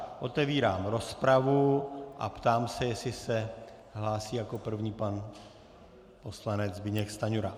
Otevírám rozpravu a ptám se, jestli se hlásí jako první pan poslanec Zbyněk Stanjura.